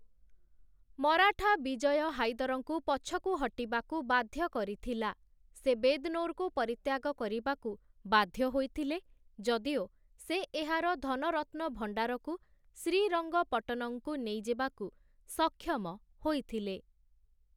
ମରାଠା, ବିଜୟ ହାଇଦର୍‌ଙ୍କୁ ପଛକୁ ହଟିବାକୁ ବାଧ୍ୟ କରିଥିଲା । ସେ ବେଦ୍‌ନୋର୍‌କୁ ପରିତ୍ୟାଗ କରିବାକୁ ବାଧ୍ୟ ହୋଇଥିଲେ, ଯଦିଓ ସେ ଏହାର ଧନରତ୍ନଭଣ୍ଡାରକୁ ଶ୍ରୀରଂଗପଟନଂକୁ ନେଇଯିବାକୁ ସକ୍ଷମ ହୋଇଥିଲେ ।